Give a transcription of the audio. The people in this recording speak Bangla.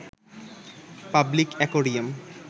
public aquarium